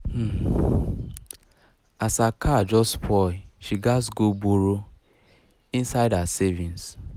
um as her car just spoil she gats go borrow um inside her savings um